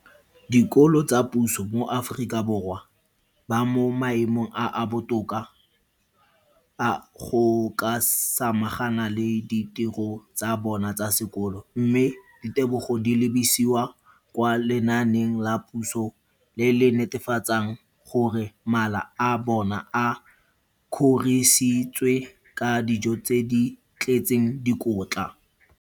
Dikolo tsa puso mo Aforika Borwa ba mo maemong a a botoka a go ka samagana le ditiro tsa bona tsa sekolo, mme ditebogo di lebisiwa kwa lenaaneng la puso le le netefatsang gore mala a bona a kgorisitswe ka dijo tse di tletseng dikotla.